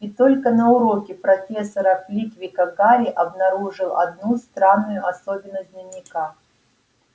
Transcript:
и только на уроке профессора флитвика гарри обнаружил одну странную особенность дневника